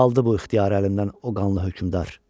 Aldı bu ixtiyarı əlimdən o qanlı hökmdar.